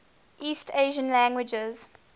east asian languages